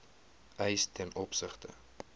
eis ten opsigte